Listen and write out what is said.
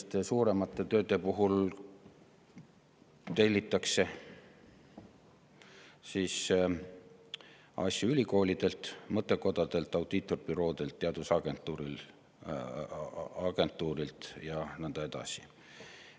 Ja suuremate tööde puhul tellitakse asju ülikoolidelt, mõttekodadelt, audiitorbüroodelt, teadusagentuurilt ja nõnda edasi.